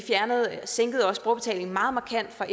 sænkede også brugerbetalingen meget markant for